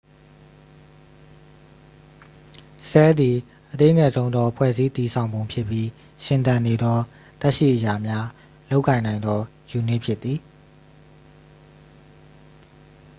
ဆဲလ်သည် အသေးငယ်ဆုံးသော ဖွဲ့စည်းတည်ဆောင်ပုံဖြစ်ပြီးရှင်သန်နေသော သက်ရှိအရာများ လုပ်ကိုင်နိုင်သော ယူနစ်ဖြစ်သည်။